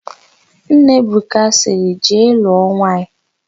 Nna Ebuka sịrị, "jee lụọ nwaanyị"!